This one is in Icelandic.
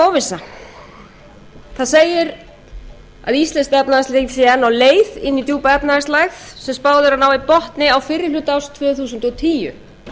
að íslenskt efnahagslíf sé enn á leið inn í djúpa efnahagslægð sem spáð er að nái botni á fyrri hluta árs tvö þúsund og tíu